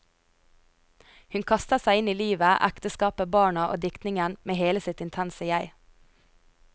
Hun kastet seg inn i livet, ekteskapet, barna og diktningen med hele sitt intense jeg.